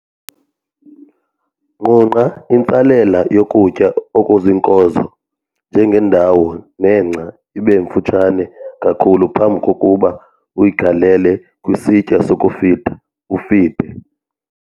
Nqunqa intsalela yokutya okuziinkozo njengendawo nengca ibe mftushane kakhulu phambi kokuba uyigalele kwisitya sokufida ufide.